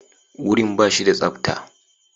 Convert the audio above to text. Wurin ba shi da tsabta.